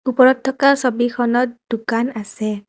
ওপৰত থকা ছবিখনত দোকান আছে।